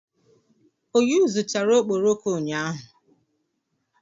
O yuzuchara okporoko ụnyahụ?